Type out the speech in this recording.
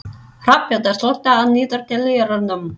Hrafnhildur, slökktu á niðurteljaranum.